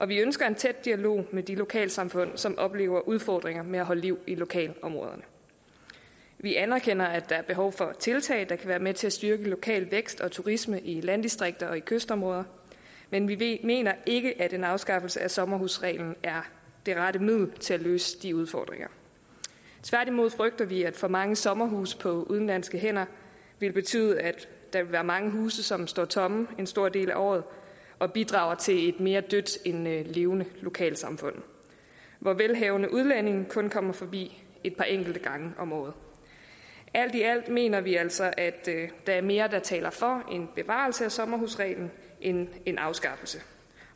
vi ønsker en tæt dialog med de lokalsamfund som oplever udfordringer med at holde liv i lokalområderne vi anerkender at der er behov for tiltag der kan være med til at styrke lokal vækst og turisme i landdistrikter og kystområder men vi mener ikke at en afskaffelse af sommerhusreglen er det rette middel til at løse de udfordringer tværtimod frygter vi at for mange sommerhuse på udenlandske hænder vil betyde at der vil være mange huse som står tomme en stor del af året og bidrager til et mere dødt end levende lokalsamfund hvor velhavende udlændinge kun kommer forbi et par enkelte gange om året alt i alt mener vi altså at der er mere der taler for en bevarelse af sommerhusreglen end en afskaffelse